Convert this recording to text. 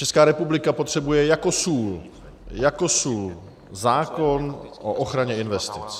Česká republika potřebuje jako sůl, jako sůl zákon o ochraně investic.